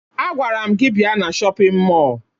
Agwara m gị bịa na shọpịn mọọ!